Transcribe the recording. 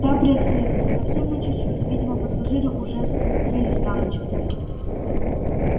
та приоткрылась совсем на чуть-чуть видимо пассажиры уже закрылись на ночь